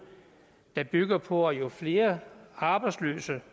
der bygger på at jo flere arbejdsløse